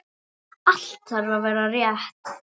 Allt þarf að vera rétt.